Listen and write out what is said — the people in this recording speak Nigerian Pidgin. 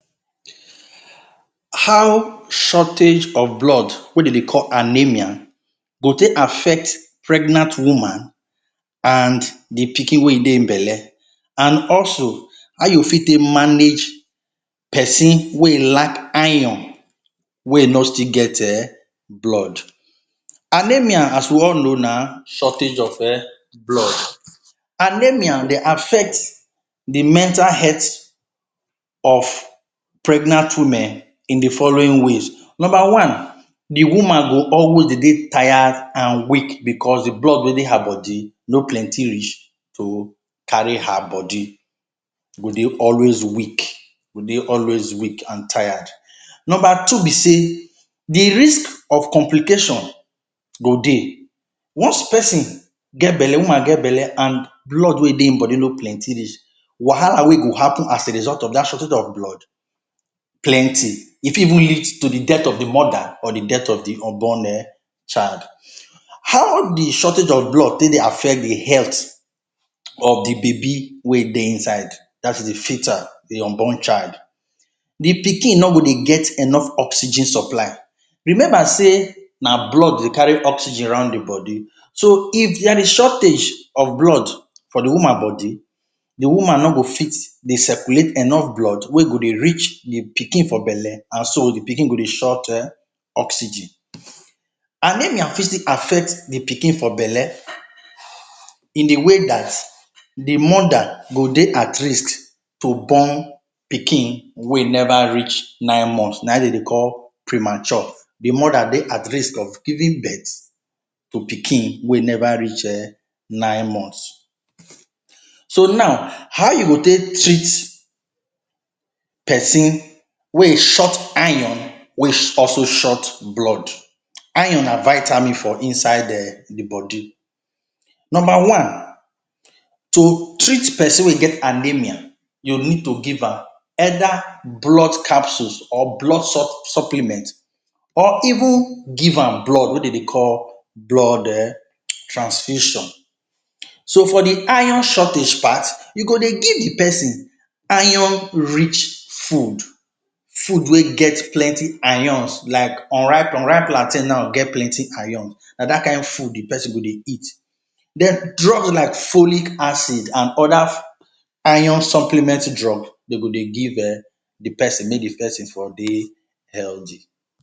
How shortage of blood wey dey dey call anemia go take affect pregnant woman and the pikin wey e dey im belle and also how e go fit manage person wey e lack iron, wey e no still get um blood. Anemia as we all know na shortage of um blood. Anemia dey affect de mental health of pregnant women in de following ways. Number one, de woman go always dey dey tired and weak because de blood wey dey her body no plenty reach to carry her body. E go dey always weak, e go dey always weak and tired. Number two be say de risk of complication go dey. Once person get belle, woman get belle and blood wey dey im body no plenty reach, wahala wey go happen as a result of dat shortage of blood plenty. E fit even lead to the death of the mother or the death of the unborn um child. How de shortage of blood take dey affect the health of de baby wey dey inside, dat is de fetal, de unborn child? De pikin no go dey get enough oxygen supply. Remember sey na blood dey carry oxygen around the body. So if there is shortage of blood for de woman body, de woman no go fit dey circulate enough blood wey go dey reach de pikin for belle and so de pikin go dey short um oxygen. Anemia fit still affect de pikin for belle in de way dat the mother go dey at risk to born pikin wey e never reach nine months. Na im dem dey call ‘premature’. De mother dey at risk of giving birth to pikin wey e never reach um nine months. So now, how you go take treat person wey im short iron, wey e also short blood? Iron na vitamin for inside um the body. Number one, to treat person wey im get anemia, you need to give am either blood capsules or blood? supplements or even give am blood wey dey dey call blood um transfusion. So for de iron shortage part, you go dey give de person iron rich food, food wey get plenty irons like unripe unripe plantation now get plenty irons. Na dat kain food de person go dey eat. Den drug like follic acid and other iron supplement drug dey go dey give um de person make de person for dey healthy.